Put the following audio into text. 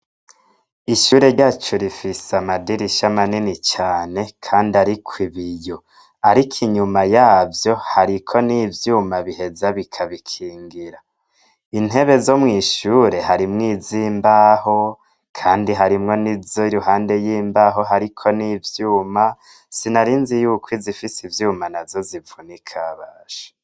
Ishure ryacu rifise amadirisha amanini cane, kandi, ariko ibiyo, ariko inyuma yavyo hariko n'ivyuma biheza bikabikingira intebe zo mwishure harimwo iz imbaho, kandi harimwo n'izo i ruhande y'imbaho hariko n'ivyuma sina ari nzi yuko izifise ivyuma na zo zivuna ikabasha.